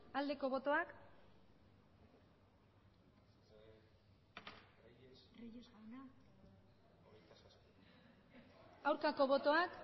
aldeko botoak aurkako botoak